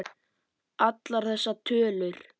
Allar þessar tölur.